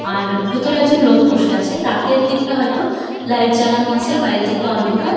আর ভিতরে একজন লোক বসে আছে রাতের দিকটা হয়তো লাইট জ্বালানো আছে বাইরের দিকটা অন্ধকার।